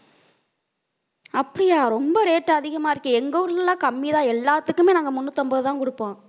அப்படியா ரொம்ப rate அதிகமா இருக்கு. எங்க ஊர்ல எல்லாம் கம்மிதான். எல்லாத்துக்குமே நாங்க முன்னூத்தி ஐம்பதுதான் கொடுப்போம்